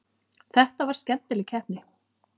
Þetta var skemmtileg keppni.